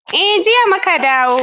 Eh, jiya mu ka dawo